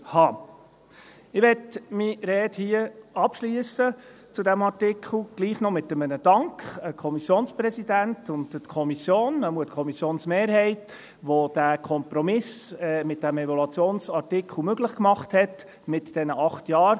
Ich möchte meine Rede zu diesem Artikel hier gleichwohl noch mit einem Dank an den Kommissionspräsidenten und an die Kommission abschliessen, jedenfalls an die Kommissionsmehrheit, die diesen Kompromiss bei diesem Evaluationsartikel mit diesen acht Jahren möglich gemacht hat.